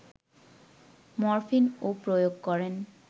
morphine ও প্রয়োগ করেন